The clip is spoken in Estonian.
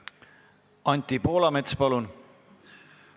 Anti Poolamets, palun!